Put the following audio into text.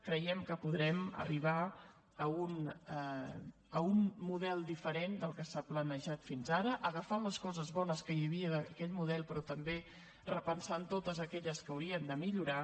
creiem que podrem arribar a un model diferent del que s’ha planejat fins ara agafant les coses que hi havia d’aquell model però també repensant totes aquelles que haurien de millorar